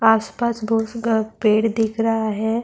اس پاس پیڑ دکھ رہا ہے-